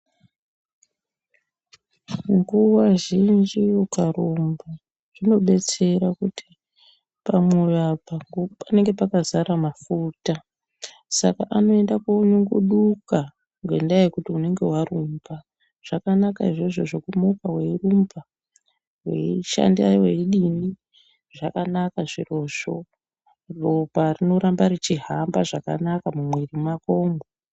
Nguwa zhinji ukarumba zvinodetsera kuti pamwoyo apa panenge pakazara mafuta Saka anoenda konyunguduka ngenyaa yekuti unenge warumba. Zvakanaka izvozvo zvekumuka weirumba, weishanda weidini. Zvakanaka zvirozvo, ropa rinoramba richihamba zvakanaka mumwiiri mwakomwo.